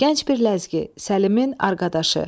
Gənc bir ləzgi, Səlimin arqadaşı.